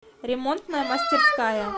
ремонтная мастерская